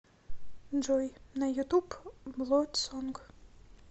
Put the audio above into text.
джой на ютуб блодсонг